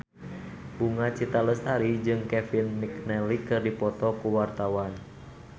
Bunga Citra Lestari jeung Kevin McNally keur dipoto ku wartawan